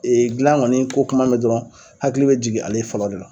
Ee gilan kɔni ko kuma mɛ dɔrɔn hakili be jigin ale fɔlɔ de la